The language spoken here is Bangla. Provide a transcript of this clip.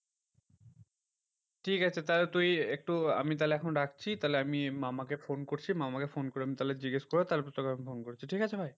ঠিকাছে তাহলে তুই একটু আমি তাহলে এখন রাখছি। তাহলে আমি মামাকে ফোন করছি, মামাকে ফোন করে আমি তাহলে জিজ্ঞেস করে তারপর তোকে আমি ফোন করছি, ঠিকাছে ভাই